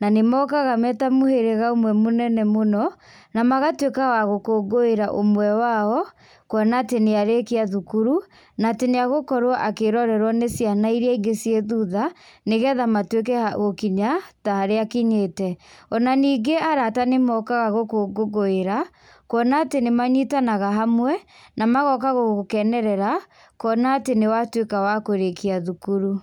nanĩmokaga me ta mũhĩrĩga ũmwe mũnene mũno, na magatwĩka wa gũkũngũĩra ũmwe wao, kuona atĩ nĩarĩkia thukuru, natĩ nĩagũkorwo akĩrorerwo nĩ ciana iria ingĩ ciĩ thutha, nĩgetha matwĩke a gũkinya ta harĩa akinyĩte, onaningĩ arata nĩmokaga gũkũngũngũĩra, kuona atĩ nĩmanyitanaga hamwe, namagoka gũgũkenerera, kuona atĩ nĩwatwĩka wa kũrĩkia thukuru.